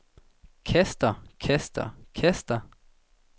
kaster kaster kaster